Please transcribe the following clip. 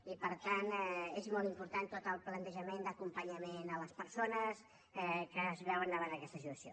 i per tant és molt important tot el plantejament d’acompanyament a les persones que es veuen davant d’aquesta situació